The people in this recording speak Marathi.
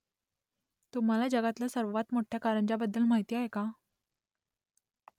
तुम्हाला जगातल्या सर्वात मोठ्या कारंज्याबद्दल माहीत आहे का ?